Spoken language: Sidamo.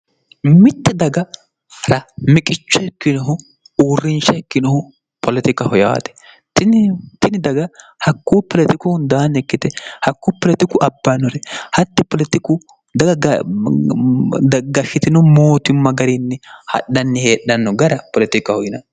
mitte daga ramiqicho hikkinohu uurrinsha hikkinohu polotikaho yaate tini daga hakkuu polotikuhu daannikkite hakkuu polotiku abbaannore hatti oltiku daga daggashshitino mootumma gariinni hadhanni heedhanno gara polotikaho yina